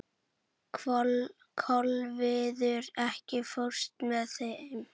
Kolviður, ekki fórstu með þeim?